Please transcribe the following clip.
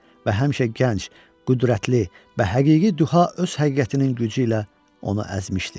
Və həmişə gənc, qüdrətli, bəhəqiqi düha öz həqiqətinin gücü ilə onu əzmişdi.